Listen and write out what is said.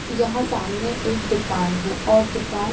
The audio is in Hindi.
यहां सामने एक दुकान है और दुकान --